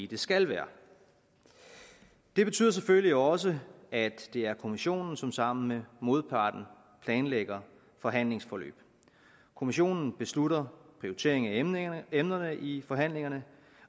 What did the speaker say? det skal være det betyder selvfølgelig også at det er kommissionen som sammen med modparten planlægger forhandlingsforløb kommissionen beslutter prioriteringen af emnerne i forhandlingerne